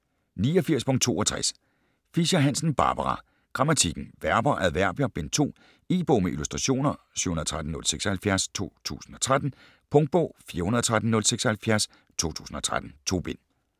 89.62 Fischer-Hansen, Barbara: Grammatikken: Verber, adverbier: Bind 2 E-bog med illustrationer 713076 2013. Punktbog 413076 2013. 2 bind.